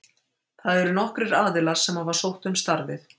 Það eru nokkrir aðilar sem hafa sótt um starfið.